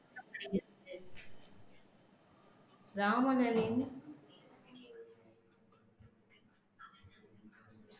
ராவணனின்